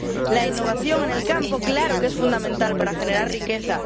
La innovación en el campo, claro que es fundamental para generar riqueza.